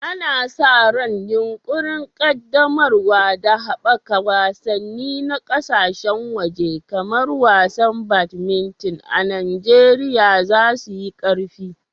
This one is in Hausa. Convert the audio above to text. Ana sa ran yunƙurin ƙaddamarwa da haɓaka wasanni na ƙasashen waje kamar wasan badminton a Najeriya za su yi ƙarfi.